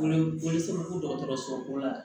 Wele wele f'i bɛ ko dɔgɔtɔrɔsoko la